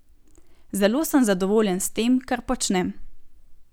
Zelo sem zadovoljen s tem, kar počnem.